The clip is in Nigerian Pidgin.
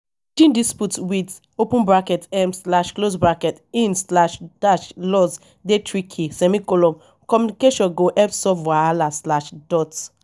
managing disputes with um in-laws dey tricky; communication go help solve wahala.